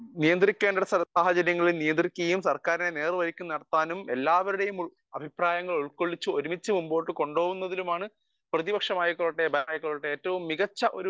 speaker 1 നിയന്ത്രിക്കേണ്ട സാഹചര്യങ്ങളിൽ നിയന്ത്രിക്കുകയും നേർവഴിക്കു നടത്തുകയും എല്ലാവരെയും ഉൾക്കൊള്ളിച്ചുകൊണ്ട് ഒരുമിച്ചു മുന്നോട്ട് കൊണ്ടുപോകുന്നതിനാണ് പ്രതിപക്ഷം ആയിക്കോട്ടെ ഭരണപക്ഷം ആയിക്കോട്ടെ ആയിക്കോട്ടെ